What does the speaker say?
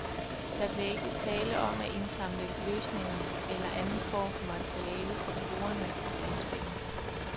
Der bliver ikke tale om at indsamle løsninger eller anden form fra materiale fra brugerne af spillet.